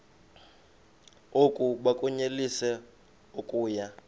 oku bakunyelise okuya